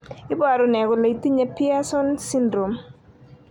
iporu ne kole itinye Pierson syndrome?